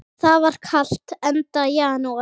Það var kalt, enda janúar.